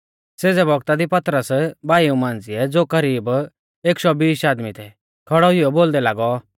सेज़ै बौगता दी पतरस भाईऊ मांझ़िऐ ज़ो करीब एक शौ बीश आदमी थै खौड़ै हुइयौ बोलदै लागौ